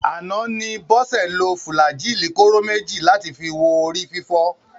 Àná ni Bọ́sẹ̀ lo fùlàájì kóró méjì láti fi wo orí fífọ́